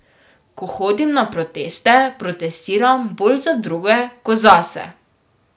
Ko hodim na proteste, protestiram bolj za druge kot zase.